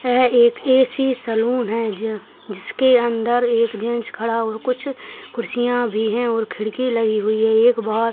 वह एक AC. Salon है ज जिसके अंदर एक जेन्ट्स खड़ा हुआ कुछ कुर्सियां भी हैं और खिड़की लगी हुई है एक बहौत --